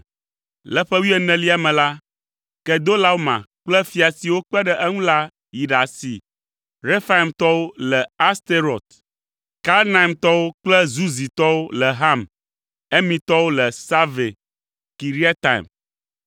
Le ƒe wuienelia me la, Kedolaoma kple fia siwo kpe ɖe eŋu la yi ɖasi Refaimtɔwo le Asterot, Karnaimtɔwo kple Zuzitɔwo le Ham, Emitɔwo le Save Kiriataim